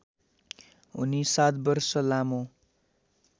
उनी ७ वर्ष लामो